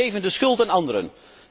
Wij geven de schuld aan anderen.